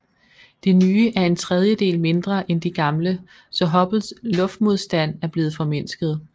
De nye er en tredjedel mindre end de gamle så Hubbles luftmodstand er blevet formindsket